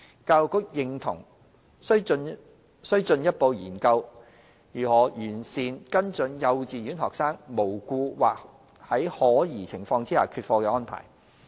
教育局認同需進一步研究如何完善跟進幼稚園學生無故或在可疑情況下缺課的安排。